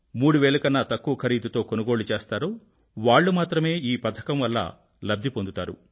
3000 కన్నా తక్కువ ఖరీదుతో కొనుగోళ్ళు చేస్తారో వాళ్ళు మాత్రమే ఈ పథకం వల్ల లబ్ధి పొందుతారు